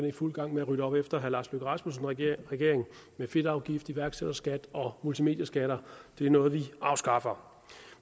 i fuld gang med at rydde op efter herre lars løkke rasmussens regering med fedtafgift iværksætterskat og multimedieskat det er noget vi afskaffer